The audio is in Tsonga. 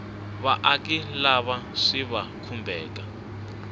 vaaki lava swi va khumbhaka